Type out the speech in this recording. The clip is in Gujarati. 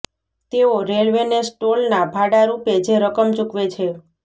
તેઓ રેલવેને સ્ટોલના ભાડા રૃપે જે રકમ ચૂકવે છે